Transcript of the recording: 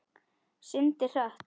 Syndir hratt.